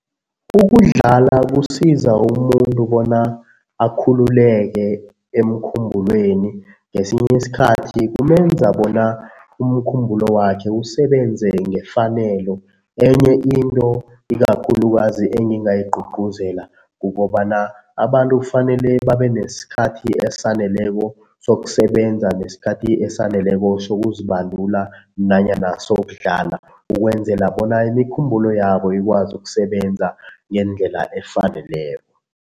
Ukudlala kusiza umuntu bona akhululeke emkhumbulweni ngesinye isikhathi kumenza bona umkhumbulo wakhe usebenze ngefanelo. Enye into ikakhulukazi engingayi gcugcuzela kukobana abantu kufanele babe nesikhathi esaneleko sokusebenza nesikhathi esaneleko sokuzibandula nanyana sokudlala, ukwenzela bona imikhumbulo yabo ikwazi ukusebenza ngendlela efaneleko.